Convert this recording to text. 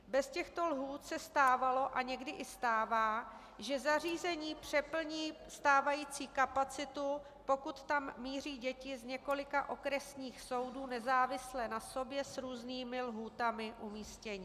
Bez těchto lhůt se stávalo a někdy i stává, že zařízení přeplní stávající kapacitu, pokud tam míří děti z několika okresních soudů nezávisle na sobě s různými lhůtami umístění.